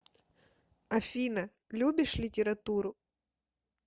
афина любишь литературу